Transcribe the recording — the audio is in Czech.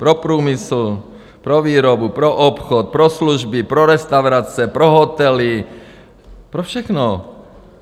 Pro průmysl, pro výrobu, pro obchod, pro služby, pro restaurace, pro hotely, pro všechno.